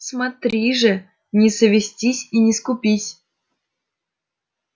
смотри же не совестись и не скупись